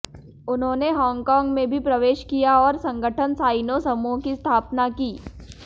उन्होंने हांगकांग में भी प्रवेश किया और संगठन साइनो समूह की स्थापना की